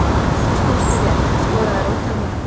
Þú stóðst þig vel, skoraðir ótal mörk.